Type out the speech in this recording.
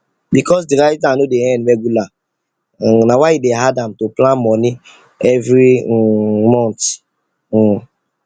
because the writer no dey earn regular um na why e dey hard am to plan money every um month um